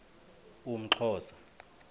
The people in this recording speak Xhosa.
umxhosa